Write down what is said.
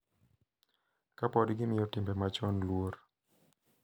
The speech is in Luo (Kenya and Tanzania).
Ka pod gimiyo timbe machon luor.